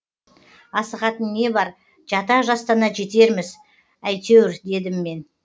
асығатын не бар жата жастана жетерміз әйтеуір дедім мен